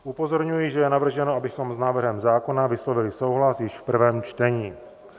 Upozorňuji, že je navrženo, abychom s návrhem zákona vyslovili souhlas již v prvém čtení.